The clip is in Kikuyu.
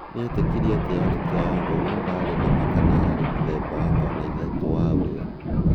nĩetĩkirie atĩ yarĩ 'triangle'no ndari nama kana yarĩ muthemba wa kona ithatũ wa ũrĩo